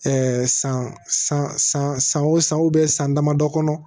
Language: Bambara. san san san san san o san san damadɔ kɔnɔ